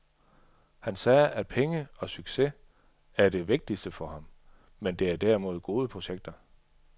Han sagde at penge og succes ikke er det vigtigste for ham, men det er derimod gode projekter.